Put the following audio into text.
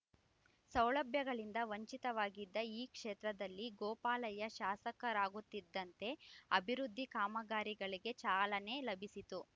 ಸೌಲಭ್ಯಗಳಿಂದ ವಂಚಿತವಾಗಿದ್ದ ಈ ಕ್ಷೇತ್ರದಲ್ಲಿ ಗೋಪಾಲಯ್ಯ ಶಾಸಕರಾಗುತ್ತಿದ್ದಂತೆ ಅಭಿವೃದ್ಧಿ ಕಾಮಗಾರಿಗಳಿಗೆ ಚಾಲನೆ ಲಭಿಸಿತು